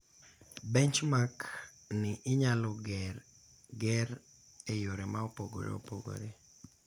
Benchmark ni inyalo ger eyore ma opogore opogore.